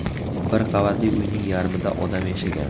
Bir qavatli uyning yarmida odam yashagan.